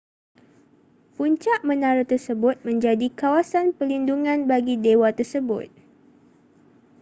puncak menara tersebut menjadi kawasan perlindungan bagi dewa tersebut